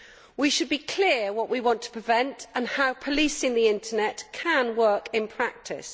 We should be clear what we want to prevent and how policing the internet can work in practice.